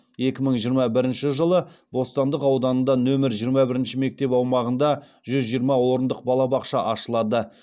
екі мың жиырма бірінші жылы бостандық ауданында нөмір жиырма бірінші мектеп аумағында жүз жиырма орындық балабақша ашылады